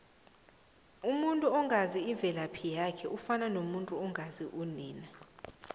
umuntu ongazi imvelaphi yakhe ufana nemvu engazi unina